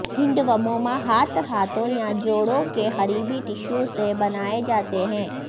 ہینڈوموما ہاتھ ہاتھوں یا جوڑوں کے قریبی ٹشووں سے بنائے جاتے ہیں